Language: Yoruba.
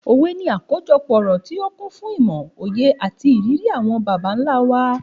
Òwe ni àkójọpọ̀ ọ̀rọ̀ tí ó kún fún ìmò, òye, àti ìrírí àwọn bàbá ńlá wa.